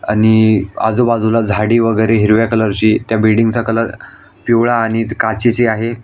आणि आजूबाजूला झाडी वेगेरे हिरव्या कलरची त्या बिल्डिंगचा कलर पिवळा आणि काचेची आहे.